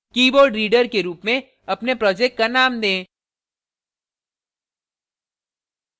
keyboardreader के रूप में अपने project का name दें